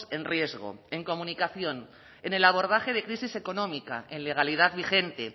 en riesgo en comunicación en el abordaje de crisis económica en legalidad vigente